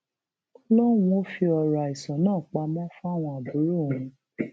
ó lóun ò fi ọrọ àìsàn náà pamọ fáwọn àbúrò òun